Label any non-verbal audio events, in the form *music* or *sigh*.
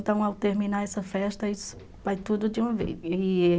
Então, ao terminar essa festa, isso vai tudo de uma vez. *unintelligible*